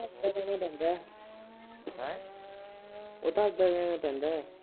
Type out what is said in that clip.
ਉਹ ਤਾਂ ਦੇਣਾ ਈ ਪੈਂਦਾ। ਉਹ ਤਾਂ ਦੇਣਾ ਈ ਪੈਂਦਾ।